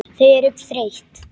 Þau eru þreytt.